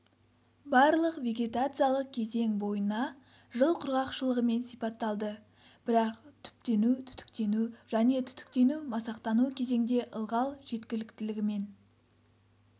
барлық вегетациялық кезең бойына жыл құрғақшылығымен сипатталды бірақ түптену-түтіктену және түтіктену-масақтану кезеңде ылғал жеткіліктілігімен